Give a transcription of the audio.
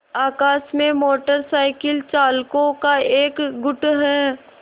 आकाश में motor cycle चालकों का एक गुट है